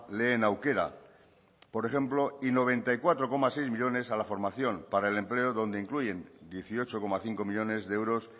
lehen aukera por ejemplo y noventa y cuatro coma seis millónes a la formación para el empleo donde incluyen dieciocho coma cinco millónes de euros